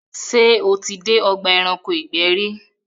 ṣé o tí dé ọgbà ẹranko ìgbẹ́ rí?